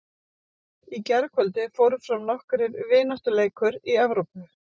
Í gærkvöldi fóru fram nokkrir vináttuleikur í Evrópu.